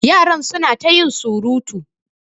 Yaran su na ta yin surutu.